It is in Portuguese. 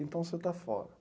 Então você está fora.